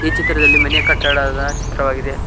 ಈ ಚಿತ್ರದಲ್ಲಿ ಮನೆ ಕಟ್ಟಡದ ಚಿತ್ರವಾಗಿದೆ.